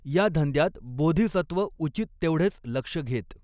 या धंद्यात बोधिसत्व उचित तेवढेच लक्ष घेत.